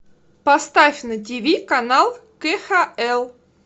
поставь на тв канал кхл